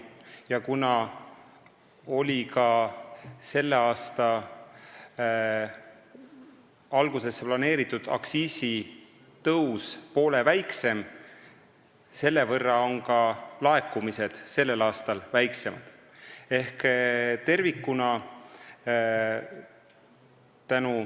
Ja kuna selle aasta algusesse planeeritud aktsiisitõus oli poole väiksem, on selle võrra väiksemad ka selle aasta laekumised.